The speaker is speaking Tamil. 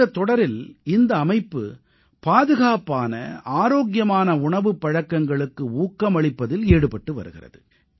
இந்தத் தொடரில் இந்த அமைப்பு பாதுகாப்பான ஆரோக்கியமான உணவுப் பழக்கங்களுக்கு ஊக்கமளிப்பதில் ஈடுபட்டு வருகிறது